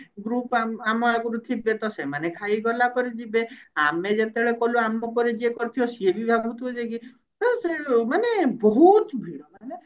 group ଆମ ଆମ ଆଗୁରୁ ଥିବେ ତ ସେମାନେ ଖାଇ ଗଲା ପରେ ଯିବେ ଆମେ ଯେତେବେଳେ ଗଲୁ ଆମ ପରେ ଯିଏ ପଡିଥିବ ସିଏ ବି ଭାବୁ ଥିବ ଯେ କି ହଁ ସେ ମାନେ ବହୁତ ଭିଡ ମାନେ